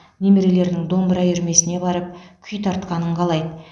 немерелерінің домбыра үйірмесіне барып күй тартқанын қалайды